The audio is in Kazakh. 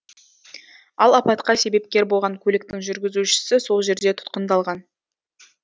ал апатқа себепкер болған көліктің жүргізушісі сол жерде тұтқындалған